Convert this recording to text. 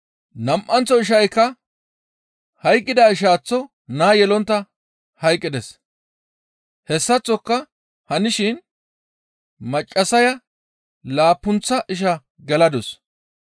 Nam7anththo ishaykka hayqqida ishaaththo naa yelontta hayqqides; hessaththoka hanishin maccassaya laappunththa ishaa geladus.